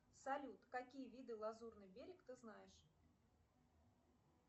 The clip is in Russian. салют какие виды лазурный берег ты знаешь